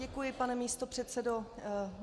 Děkuji, pane místopředsedo.